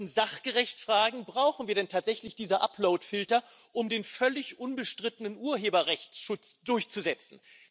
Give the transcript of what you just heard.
Wir sollten sachgerecht fragen Brauchen wir denn tatsächlich diese Uploadfilter, um den völlig unbestrittenen Urheberrechtsschutz durchzusetzen?